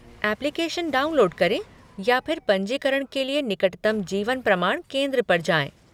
Application download करें या फिर पंजीकरण के लिए निकटतम जीवन प्रमाण केंद्र पर जाएँ।